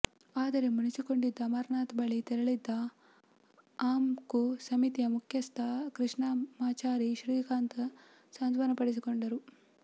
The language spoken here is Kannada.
ಆದರೆ ಮುನಿಸಿಕೊಂಡಿದ್ದ ಅಮರ್ನಾಥ್ ಬಳಿ ತೆರಳಿದ್ದ ಆಂುೆ್ಕು ಸಮಿತಿ ಮುಖ್ಯಸ್ಥ ಕೃಷ್ಣಮಾಚಾರಿ ಶ್ರೀಕಾಂತ್ ಸಾಂತ್ವನಪಡಿಸಿಕೊಂಡರು